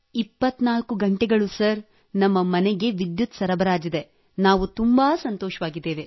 24 ಗಂಟೆಗಳು ಸರ್ ನಮ್ಮ ಮನೆಗೆ ವಿದ್ಯುತ್ ಸರಬರಾಜಿದೆ ನಾವು ತುಂಬಾ ಸಂತೋಷವಾಗಿದ್ದೇವೆ